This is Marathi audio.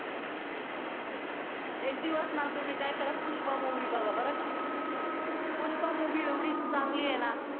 एक दिवस ना तुम्ही काय करा पुष्पा movie बघा बरं का पुष्पा movie एवढी चांगली आहे ना